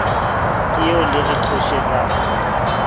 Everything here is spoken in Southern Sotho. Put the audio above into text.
ka eo le re qhoshetsang